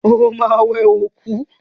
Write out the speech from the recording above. Ó ma wẹ òkú!